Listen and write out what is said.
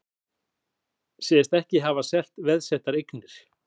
Segjast ekki hafa selt veðsettar eignir